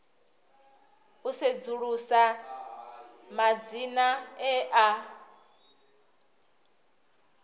u sedzulusa madzina e a